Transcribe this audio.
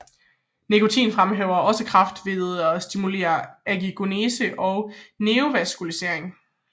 Nikotin fremmer også kræft ved at stimulere angiogenese og neovaskularisering